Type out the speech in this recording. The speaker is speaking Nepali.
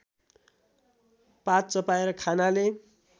पात चपाएर खानाले